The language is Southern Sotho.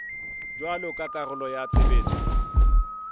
jwalo ka karolo ya tshebetso